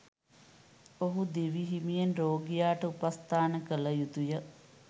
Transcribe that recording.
ඔහු දිවිහිමියෙන් රෝගියාට උපස්ථාන කළ යුතුය.